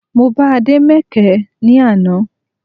Mo bá Ade mẹkẹ ní àná